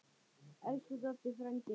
Elsku Doddi frændi.